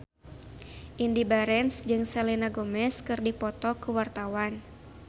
Indy Barens jeung Selena Gomez keur dipoto ku wartawan